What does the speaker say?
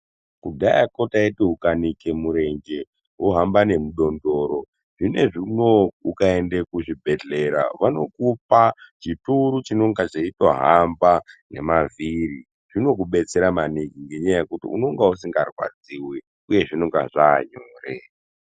Kudhayakwo taiti ukanike murenje wohamba nemidondoro, zvinezvi unou ukaende kuzvibhedhera vanokupa chituru chinoga cheitohamba nemavhiri. Zvinokubetsera maningi ngenyaya yekuti unonga usingarwadziwi uye zvinonga zvaanyore.